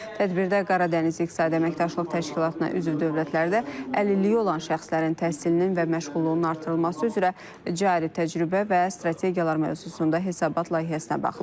Tədbirdə Qara Dəniz İqtisadi Əməkdaşlıq Təşkilatına üzv dövlətlərdə əlilliyi olan şəxslərin təhsilinin və məşğulluğunun artırılması üzrə cari təcrübə və strategiyalar mövzusunda hesabat layihəsinə baxılıb.